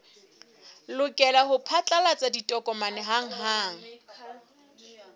lokela ho phatlalatsa ditokomane hanghang